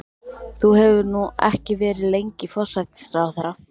Þú hefur nú ekki verið lengi forsætisráðherra?